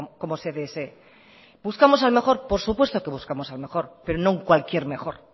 como se desee buscamos al mejor por supuesto que buscamos al mejor pero no un cualquier mejor